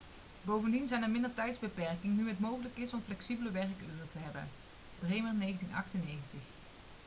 bovendien zijn er minder tijdsbeperkingen nu het mogelijk is om flexibele werkuren te hebben bremer 1998